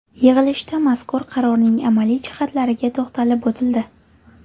Yig‘ilishda mazkur qarorning amaliy jihatlariga to‘xtalib o‘tildi.